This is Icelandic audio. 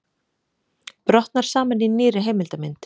Brotnar saman í nýrri heimildarmynd